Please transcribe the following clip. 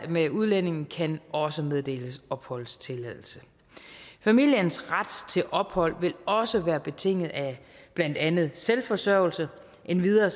med udlændingen kan også meddeles opholdstilladelse familiens ret til ophold vil også være betinget af blandt andet selvforsørgelse endvidere